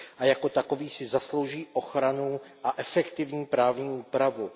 Jako takový si zaslouží ochranu a efektivní právní úpravu.